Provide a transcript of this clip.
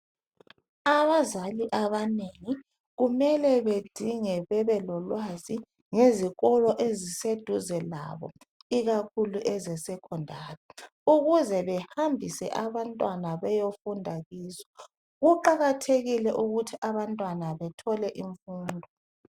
Abazali abanengi kumele bedinge bebe lolwazi ngezikolo eziseduze labo, ikakhulu ezesekhandari ukuze behambise abantwana beyefunda kizo. Kuqakathekile ukuthi abantwana bethole imfundo.